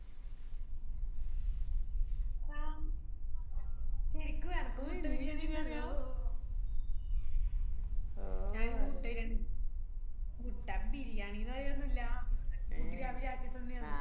ആഹ് ശെരിക്കും എനക്കും മുട്ട ബിരിയാണി ഞാൻ ഇന്ന് മുട്ട ബിരിയാണിയാ മുട്ടക്ക് ബിരിയാണിനൊന്നും ഇല്ല ബിരിയാണി